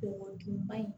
O juguman in